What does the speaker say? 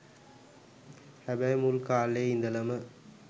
හැබැයි මුල් කා‍ලේ ඉඳලම